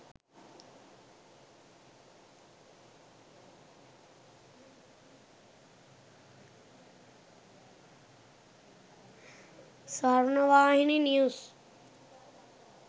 swarnavahini news